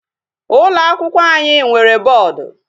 Ụlọ akwụkwọ anyị nwere boodu.